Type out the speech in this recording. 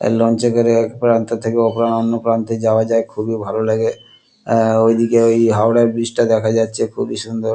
এই লঞ্চ এ করে এক প্রান্ত থেকে ও অন্য প্রান্তে যাওয়া যায় খুবই ভালো লাগে আ ওই দিকে ওই হাওড়ার ব্রিজ টা দেখা যাচ্ছে খুবি সুন্দর।